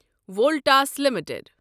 Voltas limited